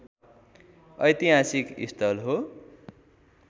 ऐतिहासिक स्थल हो